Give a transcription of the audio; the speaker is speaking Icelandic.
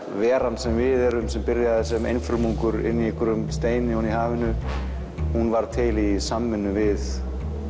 veran sem við erum sem byrjaði sem inni í einhverjum steini ofan í hafinu hún varð til í samvinnu við